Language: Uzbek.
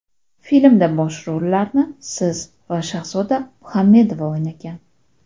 Filmda bosh rollarni siz va Shahzoda Muhamedova o‘ynagan.